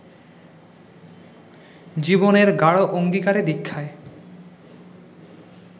জীবনের গাঢ় অঙ্গীকারে-দিক্ষায়